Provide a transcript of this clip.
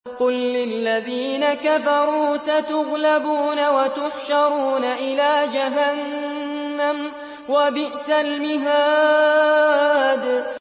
قُل لِّلَّذِينَ كَفَرُوا سَتُغْلَبُونَ وَتُحْشَرُونَ إِلَىٰ جَهَنَّمَ ۚ وَبِئْسَ الْمِهَادُ